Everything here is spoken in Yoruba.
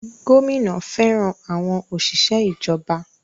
Gómìnà fẹràn àwọn òṣìṣẹ́ ìjọba.